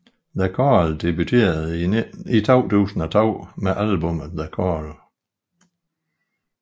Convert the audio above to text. The Coral debuterede i 2002 med albummet The Coral